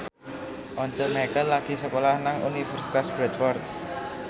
Once Mekel lagi sekolah nang Universitas Bradford